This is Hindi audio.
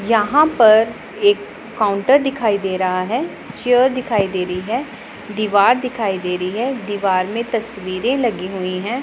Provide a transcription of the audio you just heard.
यहां पर एक काउंटर दिखाई दे रहा हैं चेयर दिखाई दे रही हैं दीवार दिखाई दे रही है दीवार में तस्वीरे लगी हुईं हैं।